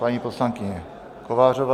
Paní poslankyně Kovářová.